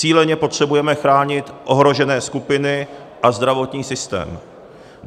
Cíleně potřebujeme chránit ohrožené skupiny a zdravotní systém.